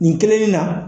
Nin kelennin na